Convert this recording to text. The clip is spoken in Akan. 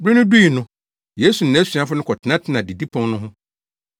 Bere no dui no, Yesu ne nʼasuafo no kɔtenatenaa didipon no ho.